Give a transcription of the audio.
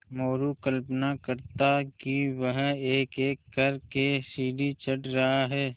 मोरू कल्पना करता कि वह एकएक कर के सीढ़ी चढ़ रहा है